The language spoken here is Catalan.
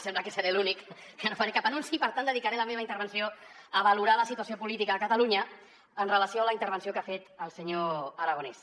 sembla que seré l’únic caré la meva intervenció a valorar la situació política a catalunya en relació amb la intervenció que ha fet el senyor aragonès